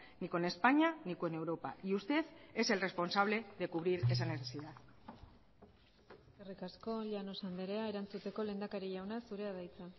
ni con españa ni con europa y usted es el responsable de cubrir esa necesidad eskerrik asko llanos andrea erantzuteko lehendakari jauna zurea da hitza